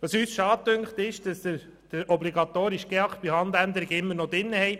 Für uns ist es schade, dass der obligatorische GEAK bei Handänderungen immer noch enthalten ist.